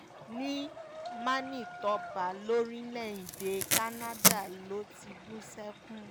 ní manitoba lórílẹ̀‐èdè canada ló ti bú sẹ́kún